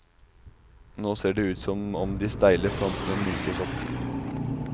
Nå ser det ut som om de steile frontene mykes opp.